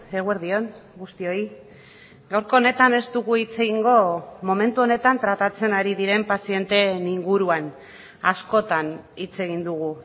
eguerdi on guztioi gaurko honetan ez dugu hitz egingo momentu honetan tratatzen ari diren pazienteen inguruan askotan hitz egin dugu